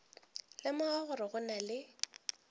lemoga gore go na le